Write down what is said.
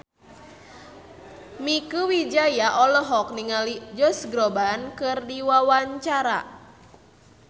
Mieke Wijaya olohok ningali Josh Groban keur diwawancara